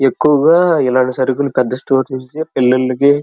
ఎక్కువుగా ఇలాంటి సరకులు పెద్ద స్టోర్ నుంచి పెళ్ళిళకి --